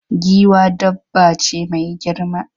Giwa dabba ce mai girma.